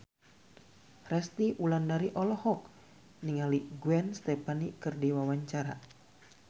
Resty Wulandari olohok ningali Gwen Stefani keur diwawancara